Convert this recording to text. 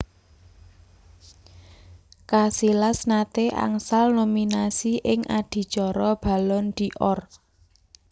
Casillas nate angsal nominasi ing adicara Ballon d Or